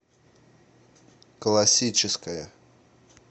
классическая